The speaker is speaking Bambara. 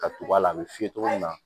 Ka tugu a la a bɛ f'i ye togo min na